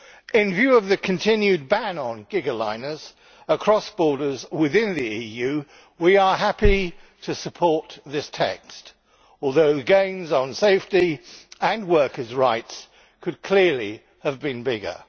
In view of the continued ban on gigaliners across borders within the EU, we are happy to support this text, although the gains on safety and workers' rights could clearly have been bigger.